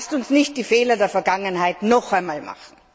Lasst uns nicht die Fehler der Vergangenheit noch einmal machen!